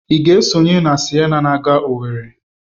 Ị ga-esonye na Siena na aga Owere?